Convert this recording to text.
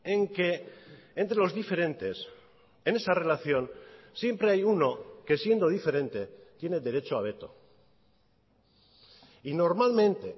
en que entre los diferentes en esa relación siempre hay uno que siendo diferente tiene derecho a veto y normalmente